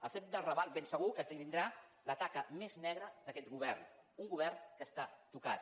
el fet del raval ben segur que esdevindrà la taca més negra d’aquest govern un govern que està tocat